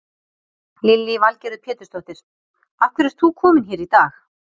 Lillý Valgerður Pétursdóttir: Af hverju ert þú kominn hér í dag?